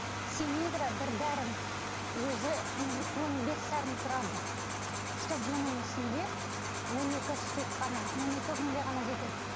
сенигра бір дәрім өзі он бес жарым тұрады чтобы оның ішінде он екі штук қана он екі күнге ғана жетеді